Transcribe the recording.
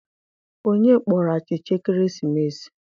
Onye kpọrọ achicha ekeresimesi?